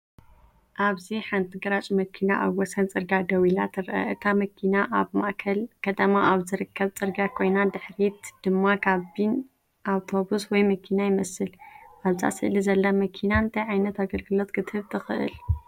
ኣብዚ ሓንቲ ግራጭ መኪና ኣብ ወሰን ጽርግያ ደው ኢላ ትርአ። እታ መኪና ኣብ ማእከል ከተማ ኣብ ዝርከብ ጽርግያ ኮይና፡ ድሕሪት ድማ ካቢን ኣውቶቡስ ወይ መኪና ይመስል። ኣብዛ ስእሊ ዘላ መኪና እንታይ ዓይነት ኣገልግሎት ክትህብ ትኽእል?